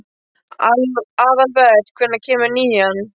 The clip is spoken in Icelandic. Aðalbert, hvenær kemur nían?